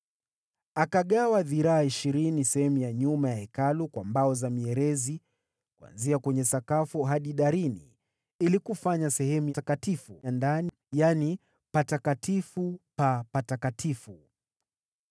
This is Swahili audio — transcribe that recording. Akagawa dhiraa ishirini sehemu ya nyuma ya Hekalu kwa mbao za mierezi kuanzia kwenye sakafu hadi darini ili kufanya sehemu takatifu ya ndani, yaani Patakatifu pa Patakatifu.